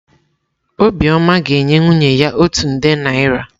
Obiọma ga-enye nwunye ya otu nde naịra.